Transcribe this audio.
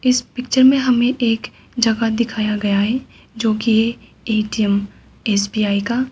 इस पिक्चर में हमें एक जगह दिखाया गया है जोकि ए_टी_एम एस_बी_आई का।